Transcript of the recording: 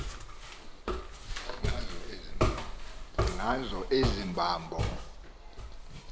ngazo ezi hambo